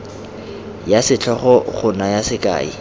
ya setlhogo go naya sekai